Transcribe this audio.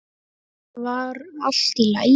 Var allt í lagi?